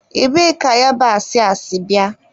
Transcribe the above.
Ebee ka yabasị a sị bịa?